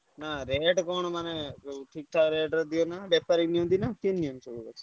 ନା rate କଣ ମାନେ ଠିକ ଠାକ୍ ରେଟ ରେ ଦିଅନା ବେପେରି ନିୟନ୍ତି ନା କେମି୍ତି ନିୟନ୍ତି?